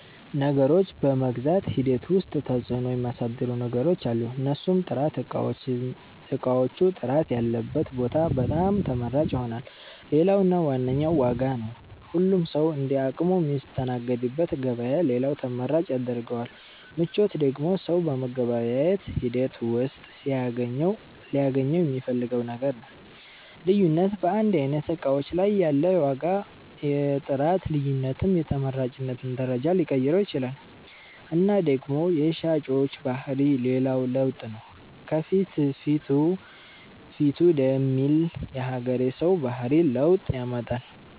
ነገሮችን በመግዛት ሂደት ዉስጥ ተፅዕኖ ሚያሣድሩ ነገሮች አሉ። እነርሡም፦ ጥራት እቃዎቹ ጥራት ያለበት ቦታ በጣም ተመራጭ ይሆናል። ሌላው እና ዋነኛው ዋጋ ነው ሁሉም ሠዉ እንደ አቅሙ ሚስተናገድበት ገበያ ሌላው ተመራጭ ያስደርገዋል። ምቾት ደግሞ ሠው በመገበያየት ሂደት ውሥጥ ሊያገኘው ሚፈልገው ነገር ነው። ልዩነት በአንድ አይነት እቃዎች ላይ ያለ የዋጋ የጥራት ልዮነትም የተመራጭነትን ደረጃ ሊቀይረው ይችላል እና ደግሞ የሻጮች ባህሪ ሌላው ለውጥ ነው ከፍትፊቱ ፊቱ ደሚል የሀገሬ ሠው ባህሪ ለውጥ ያመጣል።